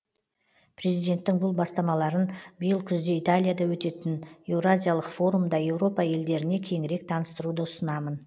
президенттің бұл бастамаларын биыл күзде италияда өтетін еуразиялық форумда еуропа елдеріне кеңірек таныстыруды ұсынамын